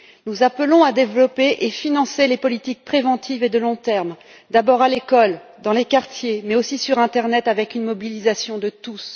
Nous appelons à développer et à financer les politiques préventives et de long terme, d'abord à l'école, dans les quartiers, mais aussi sur internet, avec une mobilisation de tous.